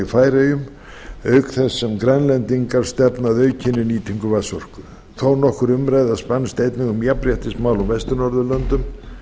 færeyjum auk þess sem grænlendingar stefna að aukinni nýtingu vatnsorku þónokkur umræða spannst einnig um jafnréttismál á vestur norðurlöndum